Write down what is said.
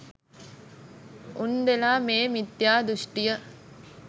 උන්දෙලා මේ මිත්‍යා දෘෂ්ටිය